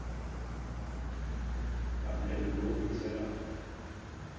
Hann hefur lokið sér af.